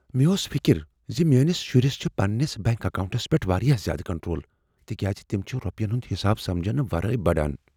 مےٚ ٲس فکر ز میٛٲنس شرس چھ پننس بنٛک اکاونٹس پیٹھ واریاہ زیٛادٕ کنٹرول، تکیاز تم چھ رۄپین ہنٛد حساب سمجنہٕ ورٲے بڑان۔